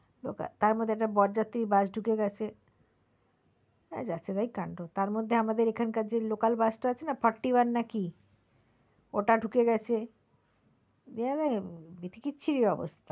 তার মধ্যে একটা বর যাত্রীর bus ঢুকে গেছে, যাচ্ছেতাই কাণ্ড তার মধ্যে আমাদের এখানে local bus টা আছে না forty one না কি ওটা ঢুকে গেছে দিয়ে একবারে বিদিকিচ্ছিরি অবস্থা।